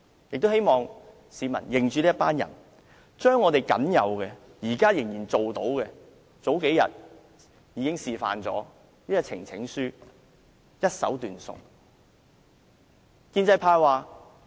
我也希望市民認着這些人，他們將我們現在僅有可做的事......他們日前示範了如何將呈請書一手斷送。